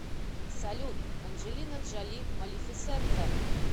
салют анджелина джоли малефисента